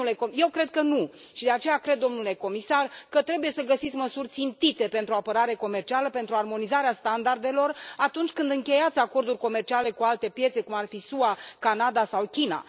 Eu cred că nu și, de aceea, cred, domnule comisar, că trebuie să găsiți măsuri țintite pentru apărare comercială, pentru armonizarea standardelor atunci când încheiați acorduri comerciale cu alte piețe, cum ar fi SUA, Canada sau China.